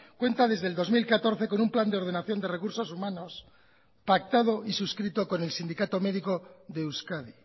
cuenta desde el dos mil catorce con un plan de ordenación de recursos humanos pactado y suscrito con el sindicato médico de euskadi